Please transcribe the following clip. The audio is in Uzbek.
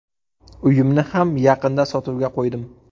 Uyimni ham yaqinda sotuvga qo‘ydim.